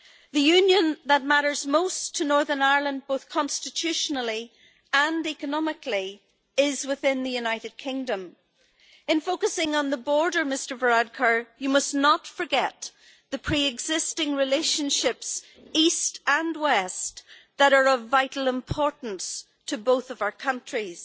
The union that matters most to Northern Ireland, both constitutionally and economically, is within the United Kingdom. In focusing on the border, Mr Varadkar, you must not forget the pre existing relationships, east and west, that are of vital importance to both of our countries.